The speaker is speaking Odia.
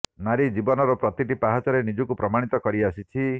ନାରୀ ଜୀବନର ପ୍ରତିଟି ପାହାଚରେ ନିଜକୁ ପ୍ରମାଣିତ କରି ଆସିଛି